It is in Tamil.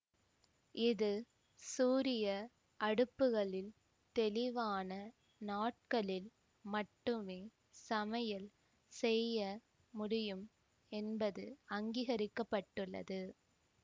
இது சூரிய அடுப்புகளில் தெளிவான நாட்களில் மட்டுமே சமையல் செய்ய முடியும் என்பது அங்கீகரிக்கப்பட்டுள்ளது